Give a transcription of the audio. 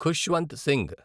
Khushwant Singh